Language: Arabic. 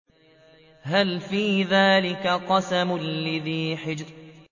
هَلْ فِي ذَٰلِكَ قَسَمٌ لِّذِي حِجْرٍ